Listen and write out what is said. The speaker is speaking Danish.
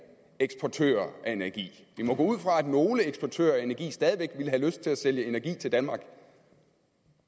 eksportører af energi vi må gå ud fra at nogle eksportører af energi stadig væk ville have lyst til at sælge energi til danmark